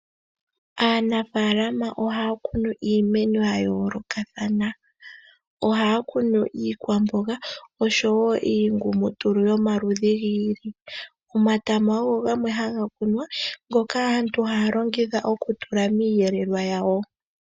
Aanafaalama ohaya kunu iimeno ya yoolokathana. Ohaya kunu iikwamboga oshowo iingumutulu yomaludhi gi ili. Omatama ogo gamwe haga kunwa, ngoka aantu haya longitha oku tula miiyelelwa yawo.